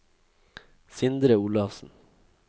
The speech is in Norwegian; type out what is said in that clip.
Sindre Olafsen